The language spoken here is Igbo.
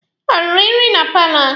O riri nri na paalọ?